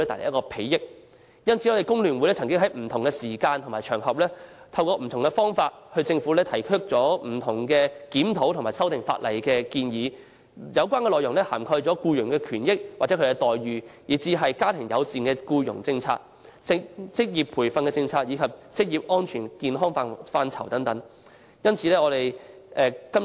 有見及此，工聯會已在不同時間和場合，透過不同方法向政府提出不同檢討和修訂法例的建議，有關內容涵蓋僱員權益與待遇，家庭友善僱傭政策、職業培訓政策及職業安全健康範疇等。